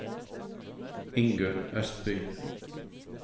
Ingunn Østby